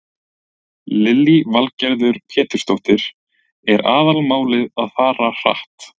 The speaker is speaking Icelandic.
Lillý Valgerður Pétursdóttir: Er aðalmálið að fara hratt?